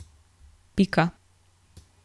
Pika.